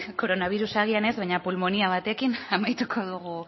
koronabirus agian ez baina pulmonia batekin amaituko dugu